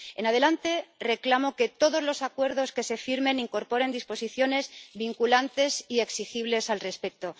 En adelante, reclamo que todos los acuerdos que se firmen incorporen disposiciones vinculantes y exigibles al respecto.